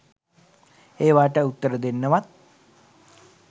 ඒවාට උත්තර දෙන්නවත්